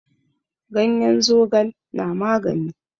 Ganyen zogal na magani.